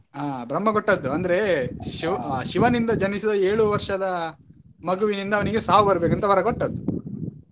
ಆ ಬ್ರಹ್ಮ ಕೊಟ್ಟದ್ದು ಅಂದ್ರೆ ಶಿ~ ಶಿವನಿಂದ ಜನಿಸಿದ ಏಳು ವರ್ಷದ ಮಗುವಿನಿಂದ ಅವನಿಗೆ ಸಾವ್ ಬರ್ಬೇಕಂತ ವರ ಕೊಟ್ಟದ್ದು.